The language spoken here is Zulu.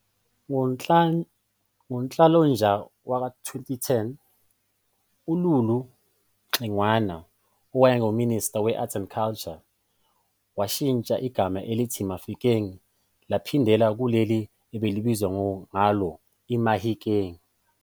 Ngo-Nhlolanja wa-2010, uLulu Xingwana owayengu-Minister we Arts and Culture washintsha igama elithi "Mafikeng" laphindela kuleli elalibizwa ngalo "iMahikeng".